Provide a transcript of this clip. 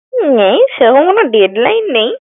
নেই, সেরকম কোনো deadline নেই।